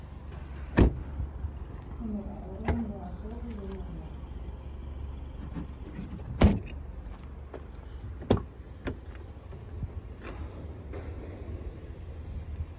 Hún er áreiðanlega góð við Lúlla.